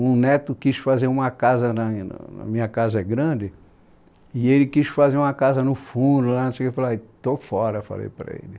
Um neto quis fazer uma casa, a minha casa é grande, e ele quis fazer uma casa no fundo lá, não sei o que, eu falei, estou fora, falei para ele.